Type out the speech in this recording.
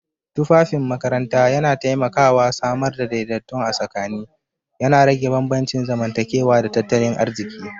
Tufafin makaranta yana taimakawa samar da daidaiton a tsakani, yana rage bambancin zamantakewa da tattalin arziki.